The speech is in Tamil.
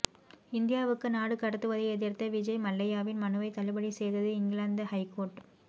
இந்தியாவுக்கு நாடு கடத்துவதை எதிர்த்த விஜய் மல்லையாவின் மனுவை தள்ளுபடி செய்தது இங்கிலாந்து ஹைகோர்ட்